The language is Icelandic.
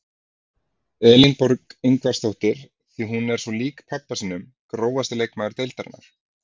Elínborg Ingvarsdóttir því hún er svo lík pabba sínum Grófasti leikmaður deildarinnar?